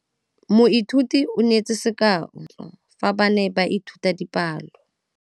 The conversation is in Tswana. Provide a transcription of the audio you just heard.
Moithuti o neetse sekaô sa palophatlo fa ba ne ba ithuta dipalo.